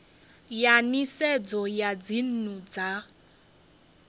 ya nisedzo ya dzinnu dza